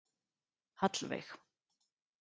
Hallveig